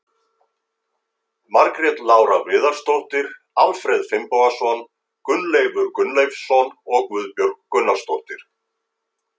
Margrét Lára Viðarsdóttir, Alfreð Finnbogason, Gunnleifur Gunnleifsson og Guðbjörg Gunnarsdóttir.